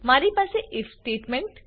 મારી પાસે IF statement